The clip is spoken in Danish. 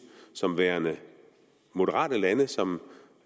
som værende moderate lande som